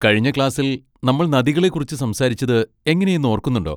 കഴിഞ്ഞ ക്ലാസ്സിൽ നമ്മൾ നദികളെ കുറിച്ച് സംസാരിച്ചത് എങ്ങനെയെന്ന് ഓർക്കുന്നുണ്ടോ?